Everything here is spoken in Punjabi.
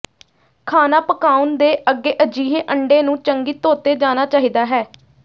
ਖਾਣਾ ਪਕਾਉਣ ਦੇ ਅੱਗੇ ਅਜਿਹੇ ਅੰਡੇ ਨੂੰ ਚੰਗੀ ਧੋਤੇ ਜਾਣਾ ਚਾਹੀਦਾ ਹੈ